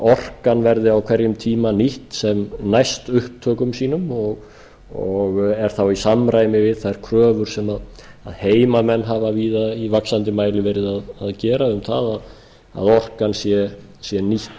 orkan verði á hverjum tíma nýtt sem næst upptökum sínum og er þá í samræmi við þær kröfur sem heimamenn hafa víða í vaxandi mæli verið að gera um það að orkan sé nýtt